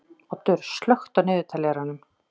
Oddur, slökktu á niðurteljaranum.